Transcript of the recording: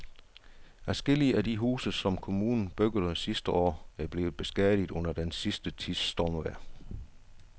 Adskillige af de huse, som kommunen byggede sidste år, er blevet beskadiget under den sidste tids stormvejr.